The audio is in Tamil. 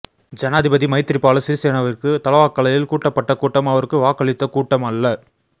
ஜனாதிபதி மைத்திரிபால சிறிசேனவிற்கு தலவாக்கலையில் கூட்டப்பட்ட கூட்டம் அவருக்கு வாக்களித்த கூட்டம் அல்ல